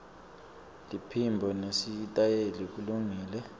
liphimbo nesitayela kulungile